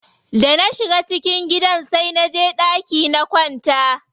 Da na shiga cikin gidan sai naje ɗaki na kwanta.